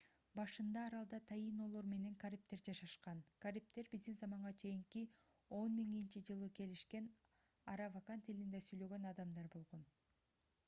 башында аралда таинолор менен карибдер жашашкан карибдер б.з.ч. 10 000-жылы келишкен аравакан тилинде сүйлөгөн адамдар болгон